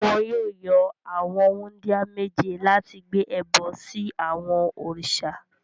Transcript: Wọn yóò yan àwọn wúńdíá méje láti gbé ẹbọ sí àwọn òrìṣà.